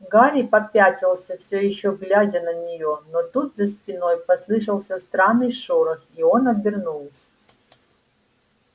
гарри попятился всё ещё глядя на неё но тут за спиной послышался странный шорох и он обернулся